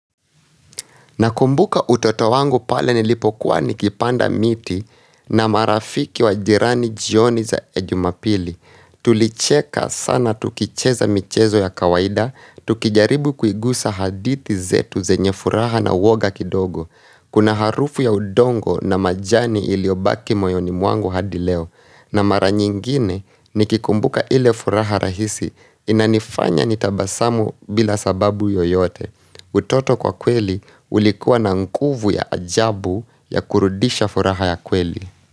Nakumbuka utoto wangu pale nilipokuwa nikipanda miti na marafiki wa jirani jioni za jumapili. Tulicheka sana tukicheza michezo ya kawaida, tukijaribu kuigiza hadithi zetu zenye furaha na woga kidogo. Kuna harufu ya udongo na majani iliyobaki moyoni mwangu hadi leo. Na mara nyingine nikikumbuka ile furaha nahisi inanifanya nitabasamu bila sababu yoyote. Utoto kwa kweli ulikuwa na nguvu ya ajabu ya kurudisha furaha ya kweli.